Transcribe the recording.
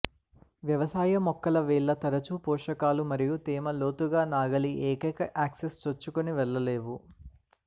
వ్యవసాయ మొక్కల వేళ్ళ తరచూ పోషకాలు మరియు తేమ లోతుగా నాగలి ఏకైక యాక్సెస్ చొచ్చుకొని వెళ్ళలేవు